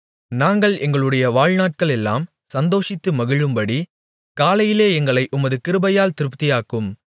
நாங்கள் எங்களுடைய வாழ்நாட்களெல்லாம் சந்தோஷித்து மகிழும்படி காலையிலே எங்களை உமது கிருபையால் திருப்தியாக்கும்